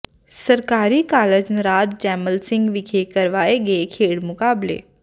ਸਰਕਾਰੀ ਕਾਲਜ ਨਰਾਜ ਜੈਮਲ ਸਿੰਘ ਵਿਖੇ ਕਰਵਾਏ ਗਏ ਖੇਡ ਮੁਕਾਬਲੇ